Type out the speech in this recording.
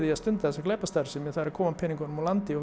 að stunda þessa glæpastarfsemi að koma peningunum úr landi